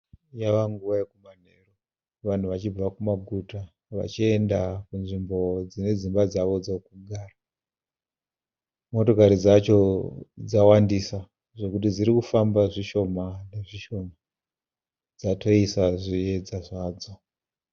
Yavanguva yokumanheru, vanhu vachibva kumaguta vachienda kunzvimbo dzine dzimba dzavo dzokugara. Motokari dzacho dzawandisa zvekuti dzirikufamba zvishoma nezvishoma, dzatoisa zviyedza zvadzo.